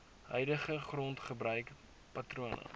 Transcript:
huidige grondgebruik patrone